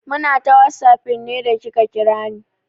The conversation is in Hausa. Muna ta whatsapping ne da kika kira ni.